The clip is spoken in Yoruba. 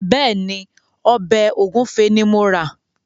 Bẹ́ẹ̀ ni, ọbẹ̀ ògúnfe ni mo rà.